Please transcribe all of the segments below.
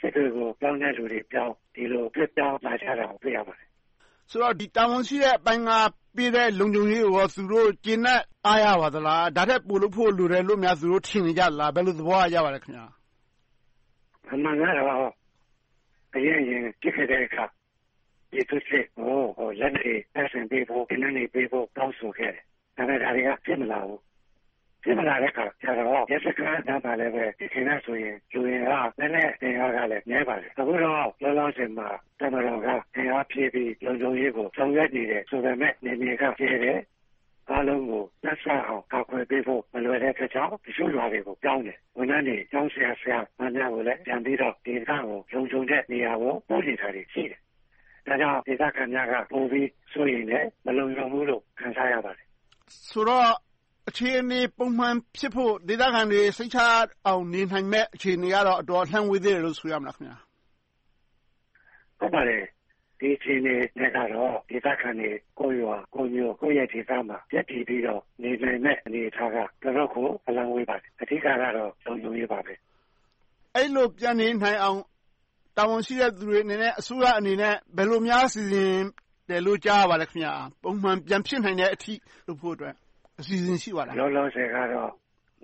စစ်တွေကို ပြောင်းတဲ့လူတွေက ပြောင်း ဒီလို ရွှေ့ပြောင်းလာတာကို တွေ့ရပါတယ်။ ဆိုတော့ တာဝန်ရှိတဲ့အပိုင်းက ပေးတဲ့လုံခြုံရေးကို သူတို့ ကျေနပ်အားရပါသလား။ ဒါထက် ပိုလုပ်ဖို့ လိုတယ်လို့ သူတို့ ထင်နေကြသလား။ ဘယ်လို သဘောရကြပါလဲ။ အမှန်ကတော့ အရင့်အရင် ဖြစ်ခဲ့တုန်းက ပြည်သူစစ်တွေကို လက်နက်တွေ တပ်ဆင်ပေးဖို့၊ သေနတ်တွေပေးဖို့ တောင်းဆိုခဲ့တယ်။ ဒါပေမဲ့ ဒါတွေက ဖြစ်မလာဘူး။ ဖြစ်မလာတဲ့အခါကြတော့ ရဲစခန်းနားမှာဆိုရင်လဲ ယခင်ကဆိုရင် လူအင်အား၊ လက်နက်အင်အားကလည်း နည်းပါတယ်။ အခုတော့ လောလောဆယ်မှာ တပ်မတော်က အင်အားဖြည့်ပြီး လုံခြုံရေးကို ဆောင်ရွက်နေပေမယ့် နယ်မြေကကျယ်တယ်။ အားလုံးကို နှံ့စပ်အောင် ကာကွယ်ပေးဖို့ မလွယ်တဲ့အတွက်ကြောင့် တချို့ရွာတွေကို ပြောင်းတယ်။ ဝန်ထမ်းတွေ၊ ကျောင်းဆရာ/မတွေကိုလည်း လုံခြုံတဲ့နေရာတွေကို ပို့နေတာတွေ ရှိတယ်။ ဒါကြောင့် ဒေသခံများက ပိုပြီး စိုးရိမ်တယ်။ မလုံခြုံဘူးလို့ ခံစားရပါတယ်။ ဆိုတော့ အခြေအနေ ပုံမှန်ဖြစ်ဖို့ ဒေသခံတွေ စိတ်ချရအောင် နေနိုင်မယ့် အခြေအနေကတော့ အတော်လှမ်းဝေးသေးတယ်လို့ ဆိုရမလား။ ဒီအခြေအနေနဲ့ကတော့ ဒေသခံတွေ ကိုယ့်ရွာကိုယ့်မြို့ ကိုယ့်ရပ်ဒေသမှာ ရပ်တည်ပြီးတော့ နေနိုင်မယ့်အနေအထားက တော်တော့်ကို အလှမ်းဝေးပါတယ်။ အဓိကတော့ လုံခြုံရေးပါပဲ။ အဲဒီလို ပြန်နေနိုင်အောင် တာဝန်ရှိတဲ့လူတွေအနေနဲ့ အစိုးရအနေနဲ့ ဘယ်လိုများ စီစဉ်တယ်လို့ ကြားရပါလဲ။ ပုံမှန် ပြန်ဖြစ်နိုင်တဲ့အထိ လုပ်ဖို့အတွက် အစီအစဉ် ရှိပါလား။ လောလောဆယ်ကတော့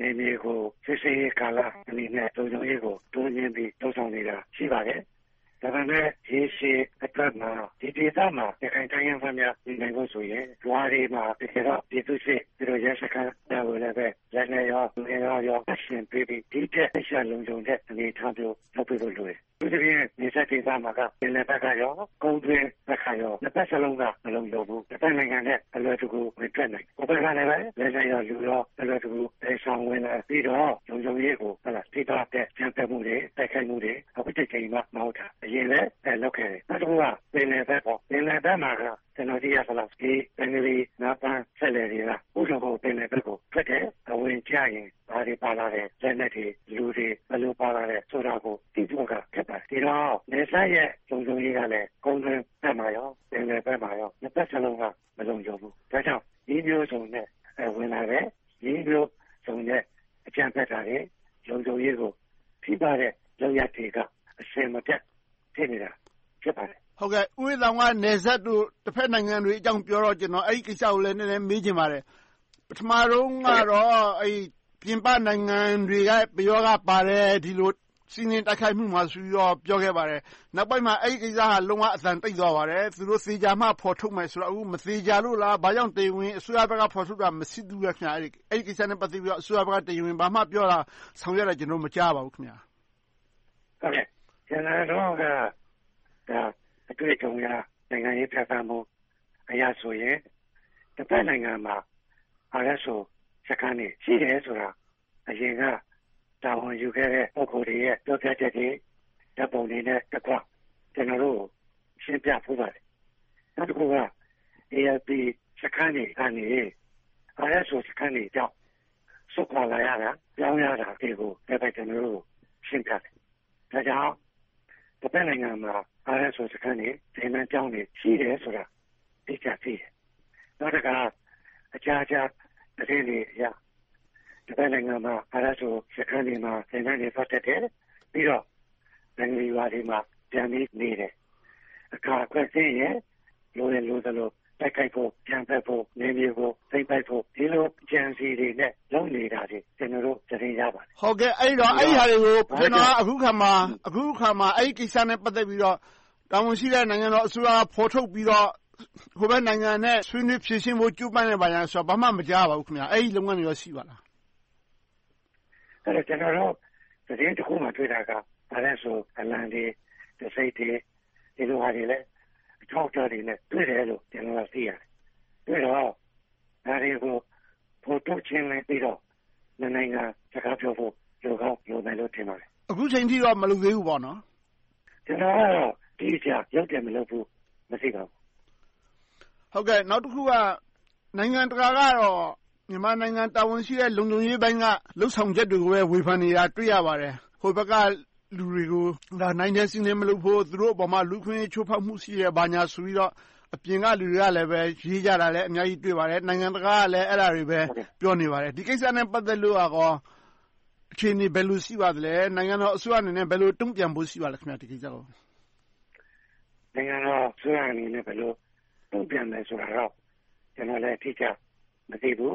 နယ်မြေကို စစ်ဆေးရေးကာလအနေနဲ့ လုံခြုံရေးကို တိုးမြှင့်ပြီး လုပ်ဆောင်နေတာ ရှိပါတယ်။ ဒါပေမဲ့ ရေရှည်အတွက်မှာ ဒီဒေသမှာ ရခိုင်တိုင်းရင်းသားများ နေနိုင်ဖို့ဆိုရင် ရွာတွေမှာ ပြည်သူစစ်၊ ရဲစခန်းများကိုလည်း လက်နက်၊ လူအင်အား တပ်ဆင်ပေးပြီး ဒီထက်မက လုံခြုံတဲ့ အနေအထားမျိုး လုပ်ပေးဖို့လိုတယ်။ အထူးသဖြင့်က နယ်စပ်ဒေသမှာ ပင်လယ်ဘက်နဲ့ ကုန်တွင်းကပါ နှစ်ဘက်စလုံးက မလုံခြုံဘူး။ တဘက်နိုင်ငံထဲကို အလွယ်တကူ ဝင်ထွက်နိုင်တယ်။ ဟိုဘက်ကနေ လက်နက် နဲ့ လူ သယ်ဆောင်ဝင်လာပြီးတော့ လုံခြုံရေးကို ထိပါးတဲ့ အကြမ်းဖက်မှုတွေ၊ တိုက်ခိုက်မှုတွေ အခုတကြိမ်မှမဟုတ်ဘူး၊ အရင်ကလဲ လုပ်ခဲ့တယ်။ နောက်တခုက ပင်လယ်ဘက် - ပင်လယ်ဘက်မှာက ကျနော် သိရသလောက် ဘင်္ဂလီငါးဖမ်းစက်လှေတွေက ဥဒဟို ပင်လယ်ဘက်ကို ထွက်တယ်။ အဝင်မှာ ဘာတွေ ပါလာလဲ။ လက်နက်တွေ၊ လူတွေ ဘယ်လို ပါလာလဲဆိုတာကို သိဖို့က ခက်ပါတယ်။ ဒီတော့ နယ်စပ်ရဲ့ လုံခြုံရေးက ကုန်တွင်း၊ ပင်လယ် နှစ်ဘက်စလုံးက မလုံခြုံဘူး။ ဒါကြောင့် နည်းမျိုးစုံနဲ့ ဝင်လာတယ်။ နည်းမျိုးစုံနဲ့ အကြမ်းဖက်တာတွေ၊ လုံခြုံရေးကို ထိပါးတဲ့ လုပ်ရပ်တွေက အစဉ်မပြတ် ဖြစ်နေပါတယ်။ ဦးအေးသာအောင် က နယ်စပ်တို့၊ တဘက်နိုင်ငံအကြောင်းပြောတော့ အဲဒီကိစ္စကို နည်းနည်း မေးချင်ပါတယ်။ ပထမဦးဆုံးကတော့ ပြင်ပနိုင်ငံတွေရဲ့ ပယောဂ ပါတယ်။ ဒီလို စီးနင်းတိုက်ခိုက်မှုမှာဆိုပြီး ပြောခဲ့ပါတယ်။ နောက်ပိုင်းမှာ အဲဒီကိစ္စက လုံးဝအသံတိတ်သွားပါတယ်။ သူတို့ သေချာမှ ဖော်ထုတ်မယ်ဆိုတော့။ အခု မသေချာလို့လား။ ဘာကြောင့် တရားဝင် အစိုးရဘက်က ဖော်ထုတ်တာ မရှိသေးဘူးလား။ အဲဒီကိစ္စနဲ့ ပတ်သက်ပြီး အစိုးရဘက်က တရားဝင် ဘာမှပြောတာ ဆောင်ရွက်တာ ကျနော်တို့ မကြားရပါဘူး။ ကျနော်တို့က အတွေ့အကြုံအရ နိုင်ငံရေးပြဿနာအရဆိုရင် တဘက်နိုင်ငံမှာ ISO စခန်းတွေ ရှိတယ်ဆိုတာ အရင်က တာဝန်ယူခဲ့တဲ့ ပုဂ္ဂိုလ်တွေရဲ့ ပြောပြချက်တွေ ဓါတ်ပုံတွေနဲ့တကွ ကျနော်တို့က ရှင်းပြဖူးပါတယ်။ နောက်တခုက ALP စခန်းတွေကနေ ISO စခန်းတွေကြောင့် စွန့်ခွါလာရတာ၊ ပြောင်းရတာတွေကို ကျနော်တို့ကို ရှင်းပြတယ်။ ဒါကြောင့် တဘက်နိုင်ငံမှာ ISO စခန်းတွေ၊ သင်တန်းကျောင်းတွေ ရှိတယ်ဆိုတာ အတိအကျသိတယ်။ နောက်တခါ အကြားအကြားသတင်းတွေအရ တဘက်နိုင်ငံမှာ ISO စခန်းတွေမှာ သင်တန်းတွေ သွားတက်တယ်။ ပြီးတော့ ဘင်္ဂလီရွာတွေမှာ ပြန်ပြီနေတယ်။ တခါ အခါအခွင့်သင့်ရင် လိုရင်လိုသလို တိုက်ခိုက်ဖို့၊ အကြမ်းဖက်ဖို့၊ နယ်မြေသိမ်းပိုက်ဖို့ ဒီလို အကြံအစည်းတွေနဲ့ လုပ်နေတာတွေကို ကျနော်တို့ သတင်းရပါတယ်။ အဲဒီတော့ အဲဒါတွေကို ကျနော်က အခုအခါမှာ အဲဒီကိစ္စနဲ့ ပတ်သက်ပြီးတော့ တာဝန်ရှိတဲ့ နိုင်ငံတော်အစိုးရက ဖော်ထုတ်ပြီးတော့ ဟိုဘက်နိုင်ငံနဲ့ ဆွေးနွေးဖြေရှင်းဖို့ ကြိုးပမ်းနေတာဆိုတာကို ဘာမှ မကြားရပါဘူး။ အဲဒီလုပ်ငန်းတွေ ရှိပါလား။ ကျနော်တို့ သတင်းတခုမှာ တွေ့တာက ISO အလံတွေ၊ တံဆိပ်တွေ၊ ဒီလိုဟာတွေလည်း အထောက်အထားတွေနဲ့ တွေ့တယ်လို့ သိရတယ်။ ဒါတွေကို ဖော်ထုတ်ရှင်းလင်းပြီးတော့ နှစ်နိုင်ငံ စကားပြောဖို့ လိုကောင်းလိုမယ်လို့ ထင်ပါတယ်။ အခုအချိန်ထိတော့ မလုပ်သေးဘူးပေါ့။ ကျနော်ကတော့ အတိအကျ လုပ်တယ်မလုပ်ဘူး မသိပါဘူး။ နောက်တခုက နိုင်ငံတကာကတော့ မြန်မာနိုင်ငံ တာဝန်ရှိတဲ့ လုံခြုံရေးပိုင်းက လုပ်ဆောင်ချက်တွေကိုလည်း ဝေဖန်နေတာ တွေ့ရပါတယ်။ ဟိုဘက်က လူတွေကို နိုင်ထက်စီးနင်း မလုပ်ဖို့။ သူတို့အပေါ် လူ့အခွင့်အရေး ချိုးဖောက်မှုရှိတယ် ဆိုပြီးတော့ အပြင်ကလူတွေကလည်း ရေးကြတာတွေ အများကြီးတွေ့ပါတယ်။ နိုင်ငံတကာကလည်း အဲဒါတွေပဲ ပြောနေပါတယ်။ ဒီကိစ္စနဲ့ ပတ်သက်လို့ အခြေအနေ ဘယ်လိုရှိပါလဲ။ နိုင်ငံတော်အစိုးရအနေနဲ့ ဘယ်လို တုံ့ပြန်ဖို့ ရှိပါလဲ။ ဒီကိစ္စကို။ နိုင်ငံတော်အစိုးရအနေနဲ့ ဘယ်လို တုံ့ပြန်မယ်ဆိုတာတော့ ကျနော်လည်း အတိအကျ မသိဘူး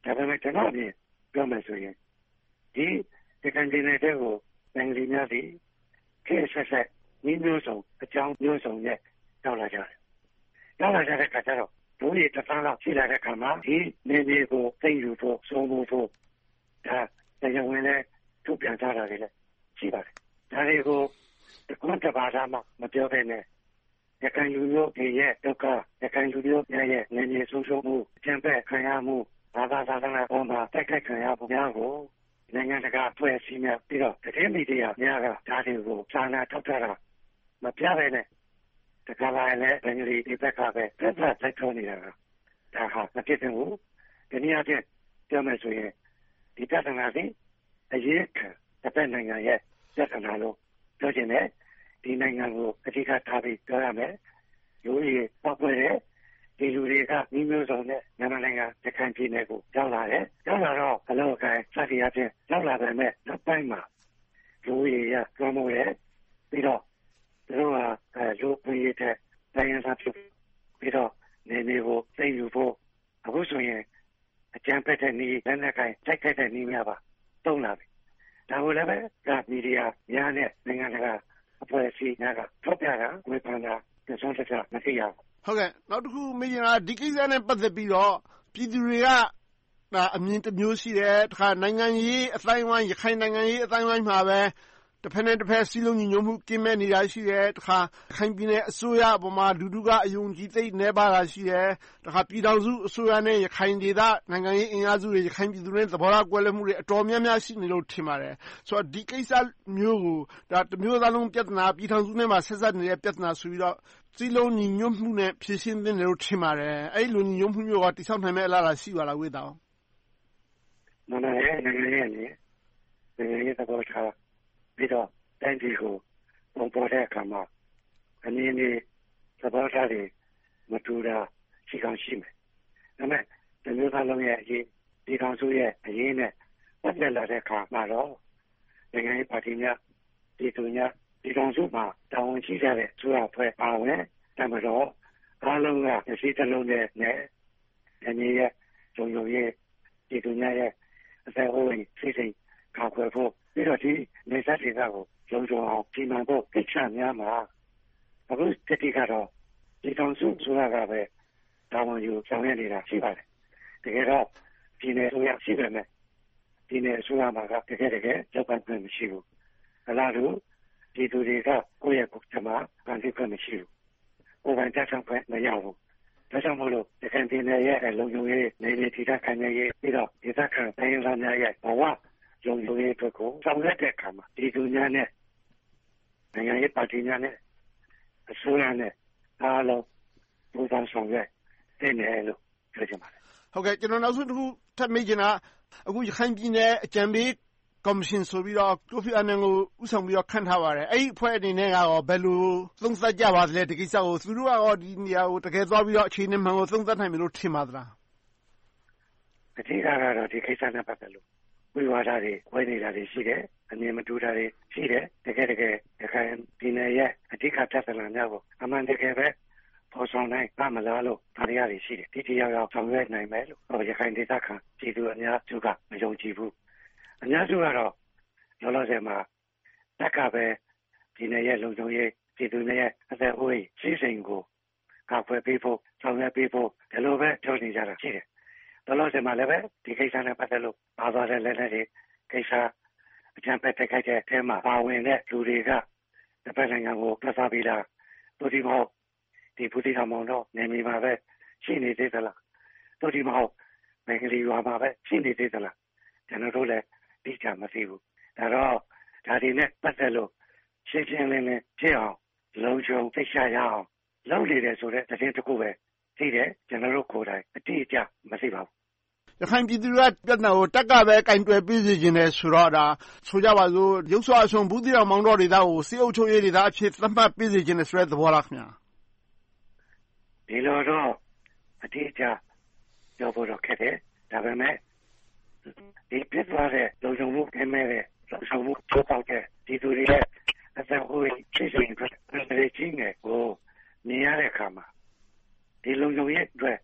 ။ ဒါပေမဲ့ ကျနော့်အမြင် ပြောမယ်ဆိုရင် ဒီရခိုင်ပြည်နယ်ထဲကို ဘင်္ဂလီများသည် ခေတ်အဆက်ဆက် နည်းမျိုးစုံ၊ အကြောင်းမျိုးစုံနဲ့ ရောက်လာကြတယ်။ ရောက်လာကြတဲ့အခါကြတော့ လူဦးရေ တစ်သန်းလောက် ရှိလာတဲ့အခါမှာ ဒီနယ်မြေကို သိမ်းယူဖို့၊ အုပ်စိုးဖို့ တရားဝင်လည်း ထုတ်ပြန်ထားတာတွေ ရှိပါတယ်။ ဒါတွေကို တခွန်းတပါဒမှ မပြောဘဲနဲ့ ရခိုင်လူမျိုးတွေရဲ့ ဒုက္ခ၊ ရခိုင်လူမျိုးတွေရဲ့ နယ်မြေဆုံးရှုံးမှု၊ အကြမ်းဖက်ခံရမှု၊ ဘာသာသာသနာပေါ် တိုက်ခိုက်ခံရမှုတွေကို နိုင်ငံတကာ အဖွဲ့အစည်းများ၊ ပြီးတော့ သတင်းမီဒီယာများက ဒါတွေကို စာနာထောက်ထားတာ မပြဘဲနဲ့ တခါလာလဲ ဘင်္ဂလီဘက်က ပြဿနာလိုက်ပြောနေတာ ဒါဟာ မဖြစ်သင့်ဘူး။ တနည်းအားဖြင့် ပြောမယ်ဆိုရင် ဒီပြဿနာသည် အရင်းခံ တဘက်နိုင်ငံရဲ့ ပြဿနာလို့ ပြောချင်တယ်။ ဒီနိုင်ငံကို အဓိကထားပြီး ပြောရမယ်။ လူဦးရေ ပေါက်ကွဲတယ်။ ဒီလူတွေက နည်းမျိုးစုံနဲ့ မြန်မာနိုင်ငံ ရခိုင်ပြည်နယ်ကို ရောက်လာတယ်။ ရောက်လာတော့ အလုပ်အကိုင် စသည်အားဖြင့် ရောက်လာပေမယ့် နောက်ပိုင်းမှာ လူဦးရေအရ လွှမ်းမိုးတယ်။ ပြီးတော့ သူတို့ဟာ လူ့အခွင့်အရေးထက် တိုင်းရင်းသားဖြစ်ပြီးတော့ နယ်မြေကို သိမ်းယူဖို့။ အခုဆိုရင် အကြမ်းဖက်တဲ့နည်းတွေ၊ လက်နက်ကိုင် တိုက်ခိုက်နည်းတွေပါ သုံးလာပြီ။ ဒါကိုလဲ မီဒီယာများနဲ့ နိုင်ငံတကာအဖွဲ့အစည်းများက ထုတ်ပြန်တာ၊ ဝေဖန်တာ တစွန်းတစ မသိရဘူး။ နောက်တခု မေးချင်တာက ဒီကိစ္စနဲ့ ပတ်သက်ပြီးတော့ ပြည်သူတွေက အမြင်တမျိုး ရှိတယ်။ ရခိုင်နိုင်ငံရေး အသိုင်းအဝိုင်းမှာလည်း တဘက်နဲ့တဘက် စည်းလုံးညီညွှတ်မှု ကင်းမဲ့နေတာ ရှိတယ်။ တခါ ရခိုင်ပြည်နယ်အစိုးရပေါ်မှာ လူထုက အယုံအကြည် သိပ်နည်းပါးတာ ရှိတယ်။ တခါ ပြည်ထောင်စုအစိုးရနဲ့ ရခိုင်ဒေသ နိုင်ငံရေးအင်အားစုတွေ၊ ရခိုင်ပြည်သူတွေရဲ့ သဘောထားကွဲလွဲမှုတွေ အတော်များများ ရှိတယ်လို့ ထင်ပါတယ်။ ဒီကိစ္စမျိုးကို တမျိုးသားလုံး ပြဿနာ။ ပြည်ထောင်စုနဲ့ပါ ဆက်စပ်နေတဲ့ ပြဿနာဆိုပြီးတော့ စည်းလုံးညီညွှတ်မှုနဲ့ ဖြေရှင်းသင့်တယ်လို့ ထင်ပါတယ်။ အဲဒီလို ညီညွှတ်မှုမျိုးကို တည်ဆောက်နိုင်မယ့် အလားအလာ ရှိပါလား။ မြန်မာနိုင်ငံရဲ့ နိုင်ငံရေးအမြင်၊ သဘောထား ပြီးတော့ တိုင်းပြည်ကို ပုံဖော်တဲ့အခါမှာ အမြင်တွေ၊ သဘောထားတွေ မတူတာ ရှိကောင်းရှိမယ်။ ဒါပေမဲ့ တမျိုးသားလုံးရဲ့အရေး၊ ပြည်ထောင်စုရဲ့အရေးနဲ့ ပတ်သက်လာတဲ့အခါမှာတော့ နိုင်ငံရေးပါတီများ၊ ပြည်သူများ ပြည်ထောင်စုမှာ တာဝန်ရှိကြတဲ့ အစိုးရအဖွဲ့အပါအဝင် တပ်မတော်အားလုံးက တစည်းတလုံးတည်းနဲ့ နယ်မြေရဲ့ လုံခြုံရေး၊ ပြည်သူများ၏ အသက်အိုးအိမ်စည်စိမ် ကာကွယ်ဖို့။ ပြီးတော့ ဒီနယ်စပ်ဒေသကို လုံခြုံအောင် စီမံဖို့ ကိစ္စများမှာ အခုကတော့ ပြည်ထောင်စုအစိုးရကပဲ တာဝန်ယူဆောင်ရွက်နေတာ ရှိပါတယ်။ တကယ်တော့ ပြည်နယ်အစိုးရ ရှိပေမယ့် ပြည်နယ်အစိုးရမှာ တကယ့်တကယ် လုပ်ပိုင်ခွင့် မရှိဘူး။ အလားတူ ပြည်သူတွေက ကိုယ့်ကြမ္မာ ကိုယ်ဖန်တီးခွင့် မရှိဘူး။ ကိုယ်ပိုင်ပြဌာန်းခွင့် မရဘူး။ ဒါကြောင့်မို့လို့ ရခိုင်ပြည်နယ်ရဲ့ လုံခြုံရေး၊ နယ်မြေတည်တန့်ခိုင်မြဲရေး။ ပြီးတော့ ဒေသခံ တိုင်းရင်းသားများ၏ ဘဝလုံခြုံရေးအတွက်ကို ဆောင်ရွက်တဲ့အခါမှာ ပြည်သူများနဲ့ နိုင်ငံရေးပါတီများနဲ့ အစိုးရနဲ့အားလုံး ပူးပေါင်းဆောင်ရွက်သင့်တယ်လို့ ပြောချင်ပါတယ်။ ကျနော် နောက်ဆုံးတခု ထပ်မေးချင်တာက အခု ရခိုင်ပြည်နယ် အကြံပေးကော်မရှင်ဆိုပြီးတော့ ကိုဖီအာနန်ကို ဦးဆောင်ပြီး ခန့်ထားပါတယ်။ အဲဒီအဖွဲ့အနေနဲ့ ဘယ်လို သုံးသပ်ကြပါလဲ။ ဒီကိစ္စကို သူတို့က ဒီနေရာကိုသွားပြီးတော့ အခြေအနေမှန်ကို သုံးသပ်နိုင်မယ်လို့ ထင်ပါလား။ အဓိကတော့ ဒီကိစ္စနဲ့ ပတ်သက်လို့ ဝိဝါဒတွေ ကွဲနေတာတွေ ရှိတယ်။ အမြင်မတူတာတွေ ရှိတယ်။ တကယ့်တကယ် ရခိုင်ပြည်နယ်ရဲ့ အဓိက ပြဿနာများကို အမှန်တကယ်ပဲ ဖော်ဆောင်နိုင်ပါ့မလားလို့ သံသယတွေ ရှိတယ်။ ထိထိရောက်ရောက် ဆောင်ရွက်နိုင်မယ်လို့ ရခိုင်ဒေသခံ ပြည်သူအများစုက မယုံကြည်ဘူး။ အများစုကတော့ လောလောဆယ်မှာ တပ်ကပဲ ပြည်နယ်ရဲ့ လုံခြုံရေး၊ ပြည်သူလူထု အသက်အိုးအိမ်စည်စိမ်ကို ကာကွယ်ပေးဖို့၊ ဆောင်ရွက်ပေးဖို့ ဒီလိုပဲ ပြောနေကြတာရှိတယ်။ လောလောဆယ်မှာ ဒီကိစ္စနဲ့ ပတ်သက်လို့ ပါသွားတဲ့ လက်နက်တွေကိစ္စ။ အကြမ်းဖက်တိုက်ခိုက်မှုထဲမှာ ပါဝင်တဲ့ လူတွေက တဘက်နိုင်ငံကို ထွက်သွားပြီလား။ သို့တည်းမဟုတ် ဘူးသီးတောင်၊ မောင်တောနယ်မြေမှာပဲ ရှိနေသေးလား။ သို့တည်းမဟုတ် ဘင်္ဂလီရွာမှာပဲ ရှိနေသေးလား။ ကျနော်တို့လည်း အတိအကျ မသိဘူး။ ဒါကြောင့် ဒါတွေနဲ့ ပတ်သက်လို့ ရှင်းရှင်းလင်းလင်းဖြစ်အောင်၊ လုံခြုံစိတ်ချရအောင် လုပ်နေတယ်ဆိုတဲ့ သတင်းတခုပဲ သိတယ်။ ကျနော်တို့ကိုယ်တိုင် အတိအကျ မသိပါဘူး။ ရခိုင်ပြည်သူတွေက ပြဿနာကို တပ်ကပဲ ကိုင်တွယ်ပေးစေချင်တယ်ဆိုတော့ ဒါ ဆိုကြပါစို့ ယုတ်စွအဆုံး ဘူးသီးတောင်၊ မောင်တောဒေသကို စစ်အုပ်ချုပ်ရေးဒေသအဖြစ် သတ်မှတ်ပေးစေချင်တဲ့ သဘောလား။ ဒီလိုတော့ အတိအကျ ပြောဖို့တော့ ခက်တယ်။ ဒါပေမဲ့ ဒီဖြစ်သွားတဲ့ လုံခြုံမှု ကင်းမဲ့တဲ့ လုပ်ဆောင်တဲ့၊ ချိုးဖောက်တဲ့၊ ပြည်သူတွေရဲ့ အသက်အိုးအိမ် အန္တရာယ်ကို မြင်ရတဲ့အခါမှာ ဒီလုံခြုံရေးအတွက်